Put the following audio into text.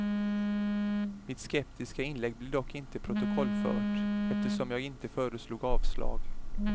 Mitt skeptiska inlägg blev dock inte protokollfört, eftersom jag inte föreslog avslag.